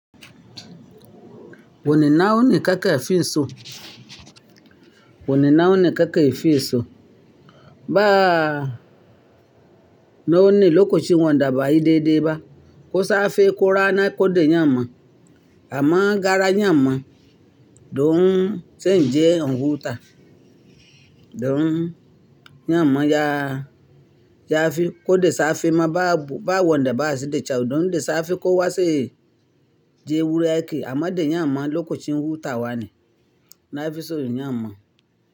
Wani na wani kake fi so, wani na wani kake fi so. Ba na wani lokacin wanda ba, ayi daidai ba. Ko safe ko rana ko da yamma, amma gara yamma, dun zan je in wuta. Dun yamma ya, ya fi ko da safe ma ba, ba wanda ba su da kyau. Don da safe ko wazai je wurin, amma da yamma lokacin huta wa ne na fi son yamma.